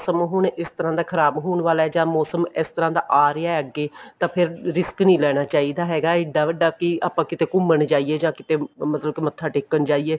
ਹੁਣ ਇਸ ਤਰ੍ਹਾਂ ਦਾ ਖਰਾਬ ਹੋਣ ਵਾਲਾ ਜਾਂ ਮੋਸਮ ਇਸ ਤਰ੍ਹਾਂ ਦਾ ਆ ਰਿਹਾ ਅੱਗੇ ਤਾਂ ਫ਼ੇਰ risk ਨੀ ਲੈਣਾ ਚਾਹੀਦਾ ਹੈਗਾ ਇੱਡਾ ਵੱਡਾ ਕੀ ਆਪਾਂ ਕਿਤੇ ਘੁਮਣ ਜਾਇਏ ਜਾਂ ਕਿਤੇ ਮੱਥਾ ਟੇਕਣ ਜਾਈਏ